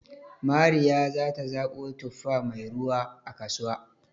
Mariya za ta zaɓo tuffa mai ruwa, a kasuwa